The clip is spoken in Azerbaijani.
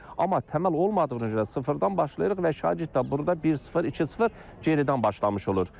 Amma təməl olmadığına görə sıfırdan başlayırıq və şagird də burda bir sıfır, iki sıfır geridən başlamış olur.